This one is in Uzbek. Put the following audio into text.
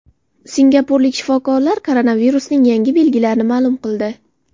Singapurlik shifokorlar koronavirusning yangi belgilarini ma’lum qildi.